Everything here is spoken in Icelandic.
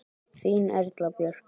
Þín Erla Björk.